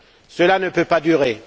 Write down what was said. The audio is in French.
Cela ne peut pas durer.